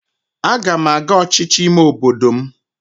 Aga m aga n'ọchịchị ime obodo m